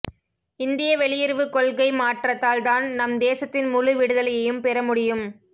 இந்திய வெளியுறவுக் கொள்கை மாற்றத்தால் தான் நம் தேசத்தின் முழு விடுதலையையும் பெற முடியும்